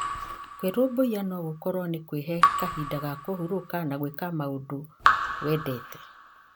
Kwĩrũmbũiya no gũkorwo nĩ kwĩhe kahinda ga kũhurũka na gwĩka maũndũ wendete.